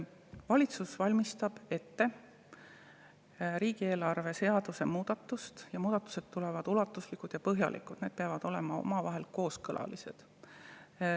Valitsus valmistab ette riigieelarve seaduse muudatust, need muudatused tulevad ulatuslikud ja põhjalikud ja need peavad olema omavahel kooskõlas.